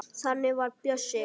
Þannig var Bjössi.